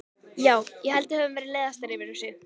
Já, ég held að við höfum verið leiðastar yfir þessu.